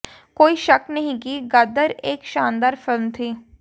कोई शक नहीं कि गदर एक शानदार फिल्म थी